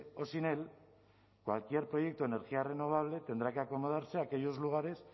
o sin él cualquier proyecto de energía renovable tendrá que acomodarse a aquellos lugares